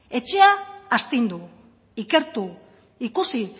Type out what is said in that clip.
etxea astindu ikertu ikusi